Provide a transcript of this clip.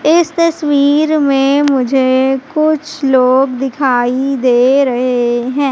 इस तस्वीर में मुझे कुछ लोग दिखाई दे रहे हैं।